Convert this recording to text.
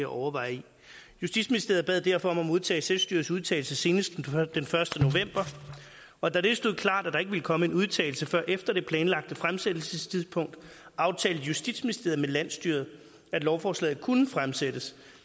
overveje i justitsministeriet bad derfor om at modtage selvstyrets udtalelse senest den første november og da det stod klart at der ikke ville komme en udtalelse før efter det planlagte fremsættelsestidspunkt aftalte justitsministeriet med landsstyret at lovforslaget kunne fremsættes